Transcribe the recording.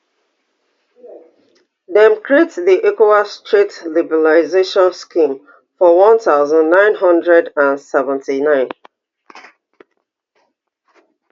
dem create di ecowas trade liberalisation scheme for one thousand, nine hundred and seventy-nine